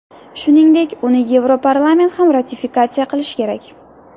Shuningdek, uni Yevroparlament ham ratifikatsiya qilish kerak.